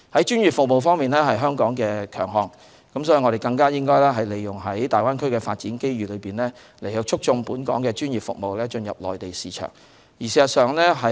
專業服務是香港的強項，因此我們應該更好利用大灣區的發展來促進專業服務進入內地市場。